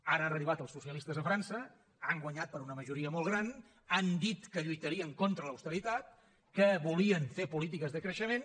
ara han arribat els socialistes a frança han guanyat per una majoria molt gran han dit que lluitarien contra l’austeritat que volien fer polítiques de creixement